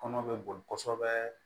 Kɔnɔ bɛ boli kosɛbɛ